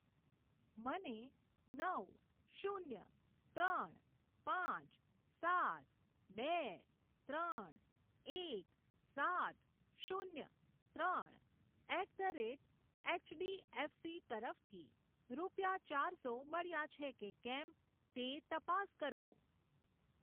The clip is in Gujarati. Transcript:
મને નવ શૂન્ય ત્રણ પાંચ સાત બે ત્રણ એક સાત શૂન્ય ત્રણ એટ ધ રેટ એચડીએફસી તરફથી રૂપિયા ચારસો મળ્યા છે કે કેમ તે તપાસ કરો.